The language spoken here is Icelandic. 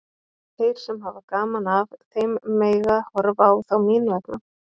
Þeir sem hafa gaman af þeim mega horfa á þá mín vegna.